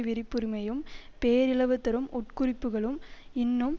விருப்புரிமையும் பேரழிவு தரும் உட்குறிப்புக்களும் இன்னும்